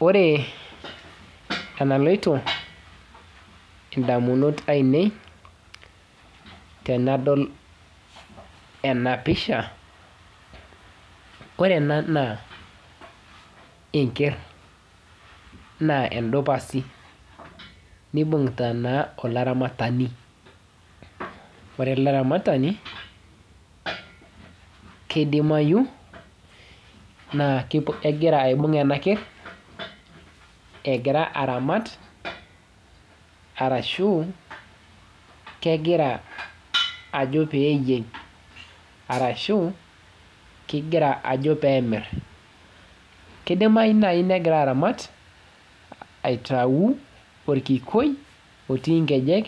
Ore enailotu indanunot aainei tenadol ena pisha ore ena naa enker naa endupas neibungita olaramatani, ore elearatani naa keidimayu naa kegira aibung ena kerr egira aramat ashu egira ajo pee eyieng ashuu egira amirr. Keidimayu naaji negira aramat aitayu orkikwei otii nkejek,